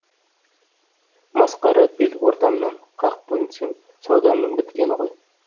масқара бел ортамнан қақ бөлінсем саудамның біткені ғой